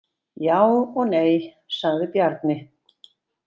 Já og nei, sagði Bjarni.